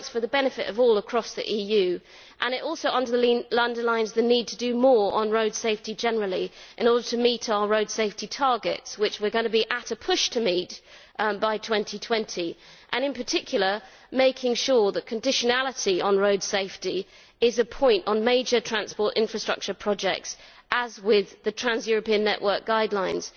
It works for the benefit of all across the EU and it also underlines the need to do more on road safety in general in order to meet our road safety targets, which we are going to be at a push to meet by 2020 in particular, making sure that conditionality on road safety is a point on all major transport infrastructure projects in line with the Trans European Network guidelines.